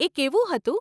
એ કેવું હતું?